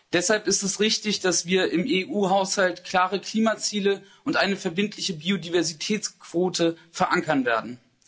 Deshalb ist es richtig, dass wir im EU-Haushalt klare Klimaziele und eine verbindliche Biodiversitätsquote verankern werden.